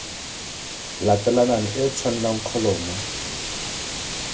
latelanang e e tshwanang kholomo